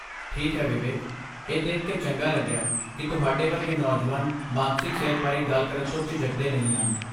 ਠੀਕ ਹੈ ਵਿਵੇਕ, ਇਹ ਦੇਖ ਕੇ ਚੰਗਾ ਲੱਗਿਆ ਕਿ ਤੁਹਾਡੇ ਵਰਗੇ ਨੌਜਵਾਨ ਮਾਨਸਿਕ ਸਿਹਤ ਬਾਰੇ ਗੱਲ ਕਰਨ ਤੋਂ ਝਿਜਕਦੇ ਨਹੀਂ ਹਨ।